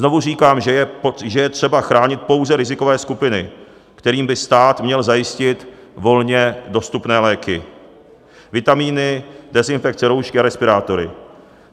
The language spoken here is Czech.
Znovu říkám, že je třeba chránit pouze rizikové skupiny, kterým by stát měl zajistit volně dostupné léky, vitaminy, dezinfekci, roušky a respirátory.